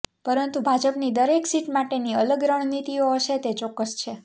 પરંતુ ભાજપની દરેક સીટ માટેની અલગ રણનીતિઓ હશે તે ચોક્કસ છે